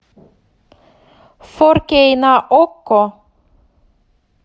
фор кей на окко